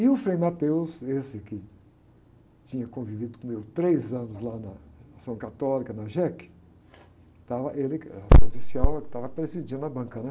E o Frei, esse que tinha convivido com eu três anos lá na Ação Católica, na jéqui, estava, ele que, era, ele que estava presidindo a banca, né?